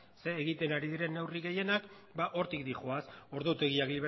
zer egiten ari diren neurri gehienak ba hortik doaz ordutegiak